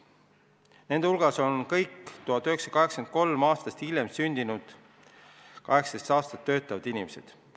Nende hulgas on kõik 1983. aastal või hiljem sündinud vähemalt 18-aastased töötavad inimesed.